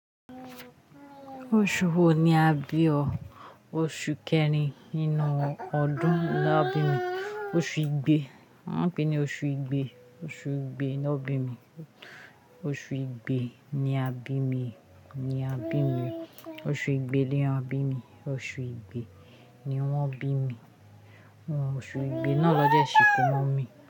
Oṣù wo ni a bí o? Oṣù kẹrin inú ọdún ni wọ́n bí mi. Oṣù igbe, wọ́n pè é ní oṣù igbe. Oṣù igbe ni wọ́n bí mi. Oṣù igbe ni a bí mi, ni a bí mi. Oṣù igbe ni wọ́n bí mi. Oṣù igbe ni wọ́n bí mi. Wọ́n mọ oṣù igbe náà lọ́jé ṣìkó mọ́ mi.